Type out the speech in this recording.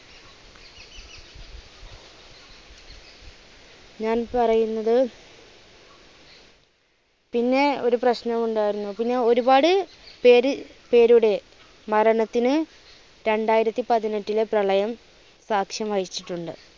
ഞാൻ പറയുന്നത് പിന്നെ ഒരു പ്രശ്നം ഉണ്ടാരുന്നു പിന്നെ ഒരുപാട് പേര് പേരുടെ മരണത്തിന് രണ്ടായിരത്തിപ്പത്തിനെട്ടിലെ പ്രളയം സാക്ഷ്യം വഹിച്ചിട്ടുണ്ട്.